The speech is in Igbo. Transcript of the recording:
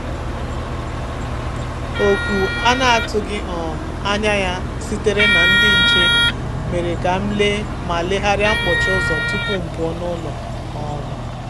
Oku a na-atụghị um anya ya sitere ná ndị nche mere ka m lee ma legharịa mkpọchi ụ́zọ́ tupu m pụọ n’ụlọ. um